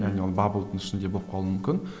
және ол баблдың ішінде болып қалуы мүмкін